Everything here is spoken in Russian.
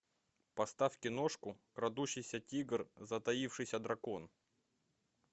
поставь киношку крадущийся тигр затаившийся дракон